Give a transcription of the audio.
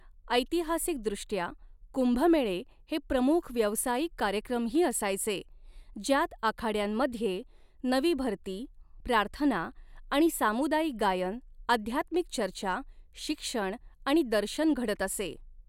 ऐतिहासिकदृष्ट्या, कुंभमेळे हे प्रमुख व्यावसायिक कार्यक्रमही असायचे, ज्यात आखाड्यांमध्ये नवी भरती, प्रार्थना आणि सामुदायिक गायन, आध्यात्मिक चर्चा, शिक्षण आणि दर्शन घडत असे.